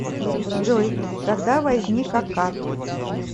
джой когда возник аккад